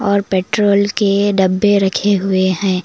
और पेट्रोल के डब्बे रखे हुए है।